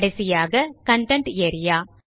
கடைசியாக content area